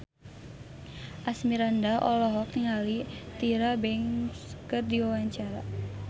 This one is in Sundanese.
Asmirandah olohok ningali Tyra Banks keur diwawancara